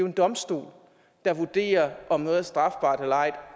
en domstol der vurderer om noget er strafbart eller ej